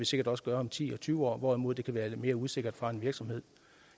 sikkert også om ti og tyve år hvorimod det kan være lidt mere usikkert fra en virksomhed